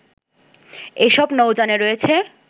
এসব নৌযানে রয়েছে